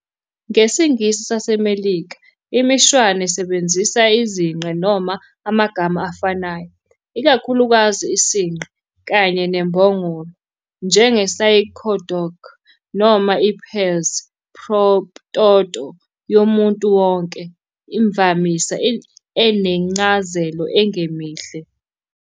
NgesiNgisi saseMelika, imishwana isebenzisa izinqe noma amagama afanayo, ikakhulukazi "isinqe" kanye "nembongolo", njenge-synecdoche noma i-pars pro toto yomuntu wonke, imvamisa enencazelo engemihle.